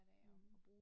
Mh